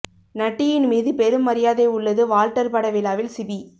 நட்டியின் மீது பெரும் மரியாதை உள்ளது வால்டர் பட விழாவில் சிபி